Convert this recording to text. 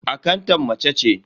Akantan mace ce.